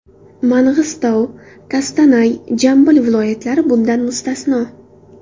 Mang‘istov, Kostanay, Jambil viloyatlari bundan mustasno.